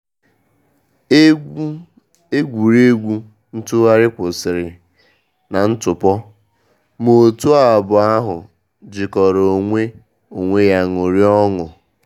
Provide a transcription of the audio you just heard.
Egwu egwuregwu ntụgharị kwụsịrị na ntụpọ, ma òtù abụọ ahụ jikọtara onwe onwe ya ṅụrịa ọṅụ.